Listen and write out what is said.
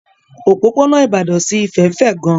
Òpópónà Ìbàdàn sí Ifẹ̀ fẹ̀ gan.